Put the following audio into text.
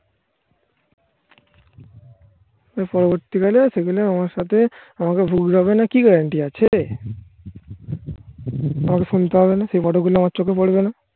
পরবর্তীকালে আমার সাথে আমাকে ভুগতে হবে না কি guarantee আছে আর শুনতে হবে না সেই photo গুলো আমার চোখে পড়বে না